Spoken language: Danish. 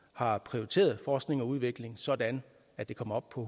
har prioriteret forskning og udvikling sådan at det kommer op på